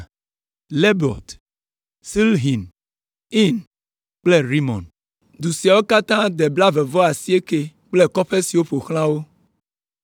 Lebaot, Silhin, Ain kple Rimon. Du siawo katã de blaeve-vɔ-asiekɛ kple kɔƒe siwo ƒo xlã wo.